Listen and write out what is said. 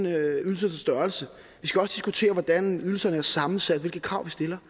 ydelsernes størrelse vi skal også diskutere hvordan ydelserne er sammensat og hvilke krav vi stiller